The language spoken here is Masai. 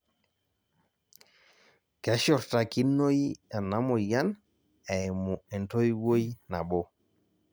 keshurtakinoi ena moyian eimu entoiwoi nabo